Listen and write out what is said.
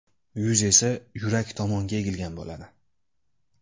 Yuz esa yurak tomonga egilgan bo‘ladi.